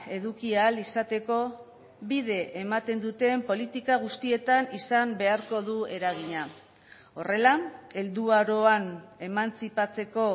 eduki ahal izateko bide ematen duten politika guztietan izan beharko du eragina horrela helduaroan emantzipatzeko